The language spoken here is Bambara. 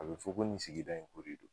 A be fɔ ko nin sigida in ko de do